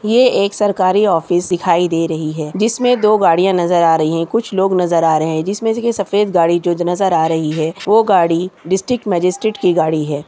ये एक सरकारी ऑफिस दिखाई दे रही है जिसमें मे दो गाड़ियाँ नजर आ रही है कुछ लोग नजर आ रहे है जिसमें से सफेद गाड़ी जो नजर आ रही है वो गाड़ी डिस्टिक मजिस्ट्रेट की गाड़ी हैं।